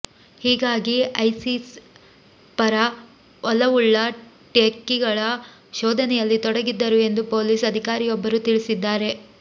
ಹೀಗಾಗಿ ಐಸಿಸ್ ಪರ ಒಲವುಳ್ಳ ಟೆಕ್ಕಿಗಳ ಶೋಧನೆಯಲ್ಲಿ ತೊಡಗಿದ್ದರು ಎಂದು ಪೊಲೀಸ್ ಅಧಿಕಾರಿಯೊಬ್ಬರು ತಿಳಿಸಿದ್ದಾರೆ